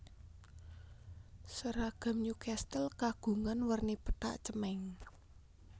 Seragam Newcastle kagungan werni pethak cemeng